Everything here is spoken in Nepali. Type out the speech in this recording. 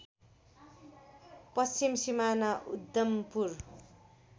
पश्चिम सिमाना उद्धम्पुर